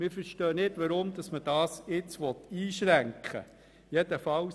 Wir verstehen nicht, weshalb man das jetzt einschränken will.